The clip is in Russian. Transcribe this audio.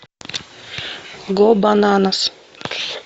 го бананас